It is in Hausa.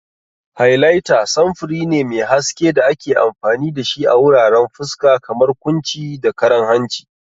Highlighter samfuri ne mai haske da ake amfani da shi a wuraren fuska, kamar kunci da karan hanci.